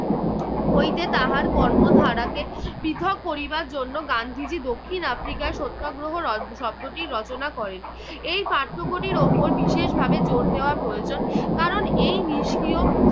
হইতে তাহার কর্মধারাকে পৃথক করিবার জন্য গান্ধীজি দক্ষিণ আফ্রিকায় সত্যাগ্রহ শব্দটি রচনা করেন। এই পার্থক্যটির উপর বিশেষভাবে জোর দেওয়া প্রয়োজন কারণ এই নিস্ক্রিয়